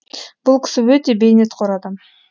бұл кісі өте бейнетқор адам